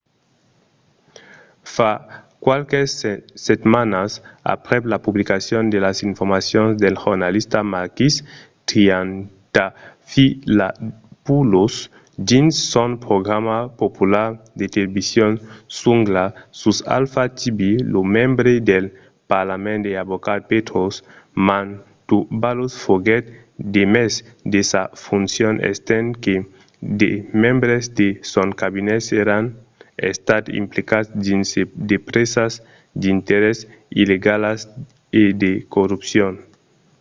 fa qualques setmanas aprèp la publicacion de las informacions del jornalista makis triantafylopoulos dins son programa popular de television zoungla sus alpha tv lo membre del parlament e avocat petros mantouvalos foguèt demés de sas foncions estent que de membres de son cabinet èran estats implicats dins de presas d'interès illegalas e de corrupcion